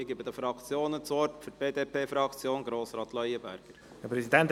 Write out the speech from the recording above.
Ich gebe den Fraktionen das Wort, zuerst Grossrat Leuenberger für die BDP.